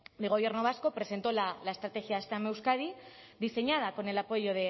del gobierno vasco presentó la estrategia steam en euskadi diseñada con el apoyo